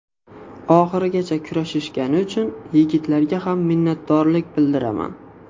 Oxirigacha kurashishgani uchun yigitlarga ham minnatdorlik bildiraman.